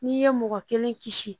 N'i ye mɔgɔ kelen kisi